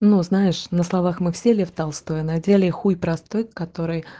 ну знаешь на словах мы все лев толстой а на деле х простых котов